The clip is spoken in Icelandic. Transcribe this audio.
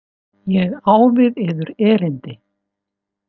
Ég á við yður erindi.